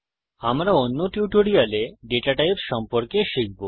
আমরা অন্য টিউটোরিয়ালে দাতা টাইপস সম্পর্কে শিখব